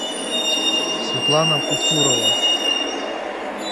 светлана пусурова